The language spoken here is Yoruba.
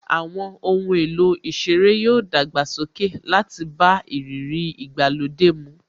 Àwọn ohun èlò ìṣeré yoo dàgbàsókè láti bá ìrírí ìgbàlódé mu